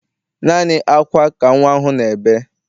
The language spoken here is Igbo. Naanị ákwá ka nnwa ahụ na-ebe.